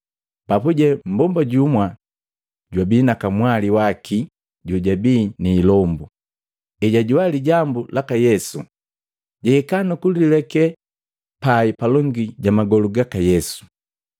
Papuje mbomba jumwa jwabii na kamwali waki jojabii ni ilombu, ejajoa lijambu laka Yesu, jahika nukulilekee pai palongi ja magolu gaka Yesu.